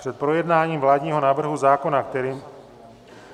Před projednáním vládního návrhu zákona, kterým...